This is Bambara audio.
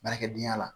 Baarakɛdenya la